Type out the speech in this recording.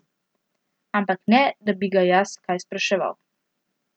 Ampak ne, da bi ga jaz kaj spraševal.